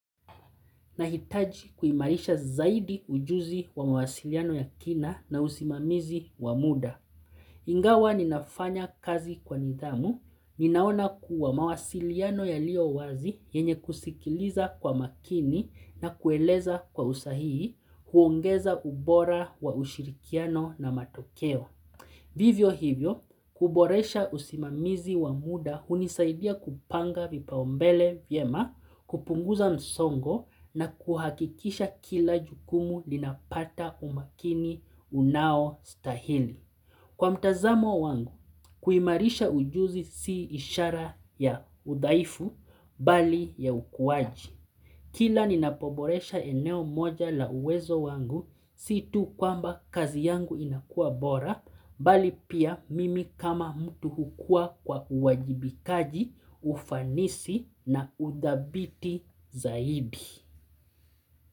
Nahitaji kuimarisha zaidi ujuzi wa mawasiliano ya kina na usimamizi wa muda. Ingawa ninafanya kazi kwa nidhamu, ninaona kuwa mawasiliano yaliyo wazi yenye kusikiliza kwa makini na kueleza kwa usahihi, huongeza ubora wa ushirikiano na matokeo. Vivyo hivyo, kuboresha usimamizi wa muda hunisaidia kupanga vipao mbele vyema kupunguza msongo na kuhakikisha kila jukumu linapata umakini unaostahili. Kwa mtazamo wangu, kuimarisha ujuzi si ishara ya udhaifu bali ya ukuwaji. Kila ninapoboresha eneo moja la uwezo wangu, siitu kwamba kazi yangu inakua bora, bali pia mimi kama mtu hukua kwa uwajibikaji, ufanisi na udhabiti zaidi.